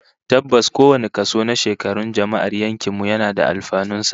Tabbas, kowane kaso na shekarun jama'ar yankin mu yana da alfanun sa